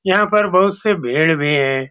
यहाँ पे बहुत से भेड़ भी है।